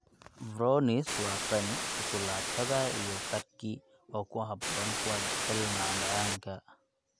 Brownies waa qani, shukulaatada, iyo fudgy, oo ku habboon kuwa jecel macmacaanka.